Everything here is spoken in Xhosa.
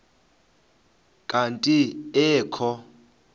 kanti ee kho